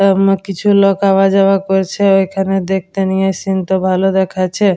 অম কিছু লোক আওয়া যাওয়া করছে ঐখানে দেখতে নিয়ে সিন্ -টা ভালো দেখাচ্ছে।